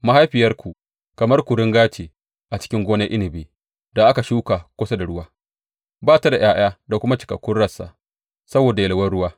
Mahaifiyarku kamar kuringa ce a cikin gonar inabi da aka shuka kusa da ruwa; ta ba da ’ya’ya da kuma cikakkun rassa saboda yalwan ruwa.